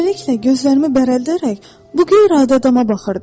Beləliklə, gözlərimi bərəldərək bu qeyri-adi adama baxırdım.